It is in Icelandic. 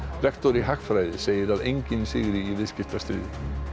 lektor í hagfræði segir að enginn sigri í viðskiptastríði